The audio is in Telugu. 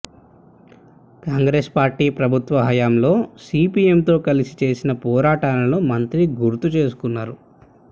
కాంగ్రెస్ పార్టీ ప్రభుత్వ హయంలో సిపిఎంతో కలిసి చేసిన పోరాటాలను మంత్రి గుర్తు చేసుకొన్నారు